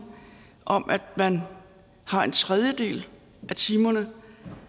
om at man har en tredjedel af timerne